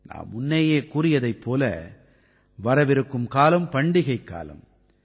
நாம் முன்னேயே கூறியதைப் போல வரவிருக்கும் காலம் பண்டிகைக் காலம்